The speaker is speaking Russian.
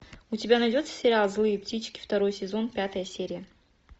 у тебя найдется сериал злые птички второй сезон пятая серия